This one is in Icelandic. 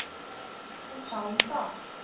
Hún sá um það.